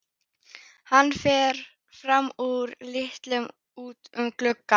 Hann fer fram úr og lítur út um gluggann.